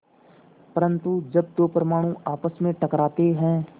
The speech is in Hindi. परन्तु जब दो परमाणु आपस में टकराते हैं